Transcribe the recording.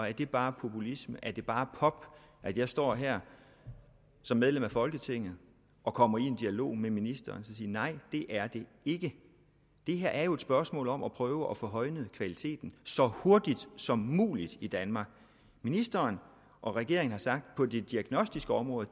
er det bare populisme er det bare pop at jeg står her som medlem af folketinget og kommer i dialog med ministeren nej det er det ikke det her er jo et spørgsmål om at prøve at få højnet kvaliteten så hurtigt som muligt i danmark ministeren og regeringen har sagt på det diagnostiske område